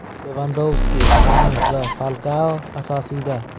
Levandovski, Xames va Falkao asosiyda.